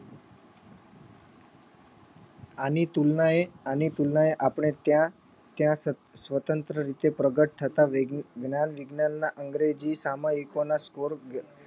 આની તુલનાએ આની તુલનાએ આપણે ત્યાં ત્યાં સ્વ સ્વતંત્ર રીતે પ્રગટ થતા વૈજ્ઞા જ્ઞાન વિજ્ઞાનના અંગેજી સામયિકોના score